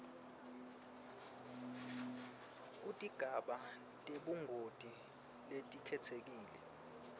kutigaba tebungoti letikhetsekile